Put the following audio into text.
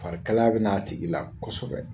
Farikalaya bɛ na a tigi la kosɛbɛ.